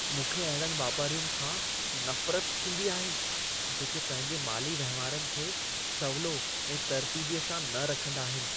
मूंखे अहिड़नि वापारियुनि खां नफ़रत थींदी आहे, जेके पंहिंजे माली वहिंवारनि खे सवलो ऐं तरतीबीअ सां न रखंदा आहिनि।